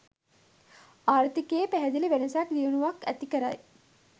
ආර්ථිකයේ පැහැදිලි වෙනසක්‌ දියුණුවක්‌ ඇති කරයි.